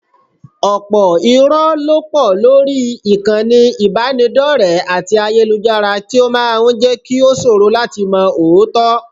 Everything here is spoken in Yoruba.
Ọ̀pọ̀ irọ́ ló pọ̀ lórí ìkànnì ìbánidọ́rẹ̀ẹ́ àti ayélujára tí ó máa ń jẹ́ kí ó ṣòro láti mọ òótọ́